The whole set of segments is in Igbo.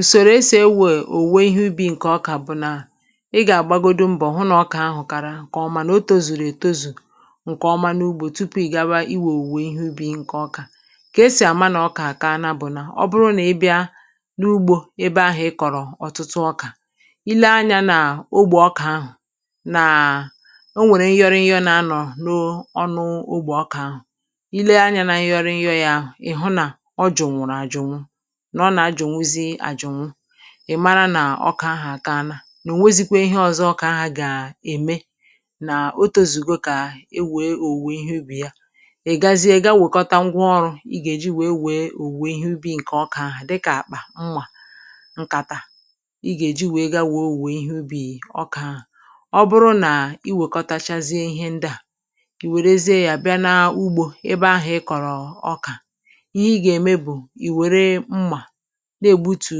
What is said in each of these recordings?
ùsōrò e sì ewè òwùwè ihe ubì ṅ̀kè ọkà bụ nà ị gà-àgbagodu m̀bọ̀ hụ nà ọkà ahụ kàrà ṅ̀kè ọma nà o tōzùrù ètozù ṅ̀kè ọma n’ugbō tupu ị̀ gawa iwè òwùwè ihe ubī ṅ̀kè ọkà kà e sì àma nà ọkà àkaana bụ̀ nà ọ bụrụ nà ị bịa n’ugbō ebe ahụ̀ ị kọ̀rọ̀ ọtụtụ ọkà I lee anyā n’ogbè ọkà ahụ̀ nàà o nwèrè ṅyọrịyọ na-anọ noo ọnụ ogbè ọkà ahụ̀ i lee anyā na ṅyọrịyọ yā ahụ̀ ị̀ hụ nà ọ jụ̀nwụ̀rụ̀ àjụ̀nwụ nà ọ nà-ajụ̀nwụzi àjụ̀nwụ ị̀ mara nà ọkà ahà àkaana nà ò nwezikwē ihe ọ̄zọ̄ ọkà ahà gà-ème nà o tōzùgo kà e wèe òwùwɛ ihe ubì ya ị̀ gazie gaa wòkọta ṅgwa ọrū ị gà-èji wèe wèe òwùwè ihe ubī ṅ̀kè ọkà ahụ̀ dịkà àkpà, mmà ṅ̀kàtà ị gà-èji wèe gaa wèe òwùwè ihe ubì ọkà ahụ̀ ọ bụrụ nà ị wèkọtachaazie ihe ndị à ì wèrezie yā bịa na ugbō ebe ahà ị kọ̀rọ̀ ọkà ihe ị gà ème bụ̀ ì wère mmà na-ègbutù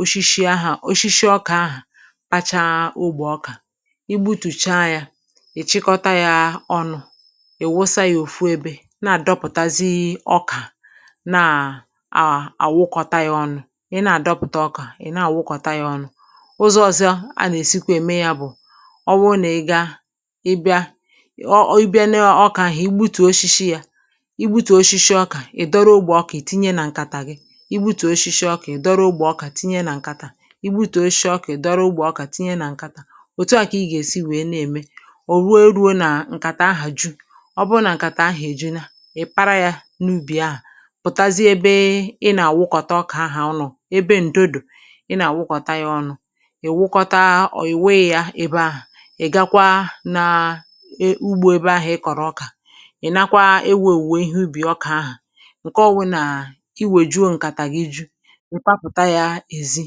oshishi ahà oshishi ọkà ahà kpachaa ogbè ọkà i gbutùchaa yā ị̀ chịkọta yā ọnụ̄ ị̀ wụsa yā òfu ebē na-àdọpụ̀tazi ọkà naà àà àwụkọta ya ọnụ̄ ị na-àdọpụ̀ta ọkà ị̀ na-àwụkọ̀ta yā ọnụ̄ ụzọ̄ ọ̄zọ̄ a nà-èsikwa ème yā bụ̀ ọ bụrụ nà ị gaa ị bịa ọe ị bịa ne ọ ọkà ahụ̀ i gbutùo oshishi yā i gbutùo oshishi ọkà ị̀ dọrọ ogbè ọkà ì tinye nà ṅ̀kàtà gị i gbutùo oshishi ọkà ị̀ dọrọ ogbè ọkà tinye nà ṅ̀kàtà i gbutùo oshishi ọkà ị̀ dọrọ ogbè ọkà tinye nà ṅ̀kàtà òtu à kà ị gà-èsi wèe na-ème ò weē ruo nà ṅ̀kàtà ahà ju ọ bụrụ nà ṅ̀kàtà ahà èjuna ị̀ para yā n’ubì ahà pụ̀tazie ebe ị nà-àwụkọ̀ta ọkà ahà ọnụ̄ ebe ǹdo dò ị nà-àwụkọta yā ọnụ̄ ị̀ wụkọta or ị̀ wụyị yā ebe ahà ị̀ gakwaa nà e ugbō ebe ahà ị kọ̀rọ̀ ọkà ị̀ nakwa ewē òwùwè iheubì ọka ahà ṅ̀ke ọ wụnàà i wòjuo ṅ̀kàtà gị ju ị̀ papụ̀ta yā èzi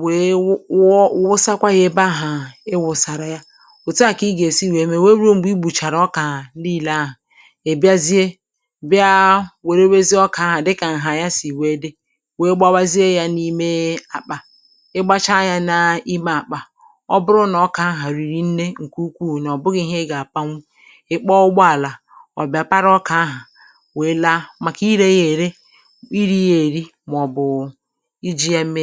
wèe wụ wụ wụsakwa yā ebe ahà ị wụ̀sàrà ya òtu à kà ị gà-èsi wèe me wèe ru mgbe i gbùchàrà ọkà niīlē ahà ị̀ bịzie bịa wèrewezie ọkà ahà dịkà ṅhà ya sì wèe dị wèe gbawazie yā n’ime àkpà ị gbachaa yā n’ime àkpà ọ bụrụ nà ọkà ahà rìrì nnē ṅ̀kè ukwuù nà ọ̀ bụghị̄ ihe ị gà-àpanwu ị̀ kpọọ ụgbọ alà ọ̀ bịa para ọkà ahà wèe laa màkà irē yā ère irī yā èri màọ̀bụ̀ ijī yā mee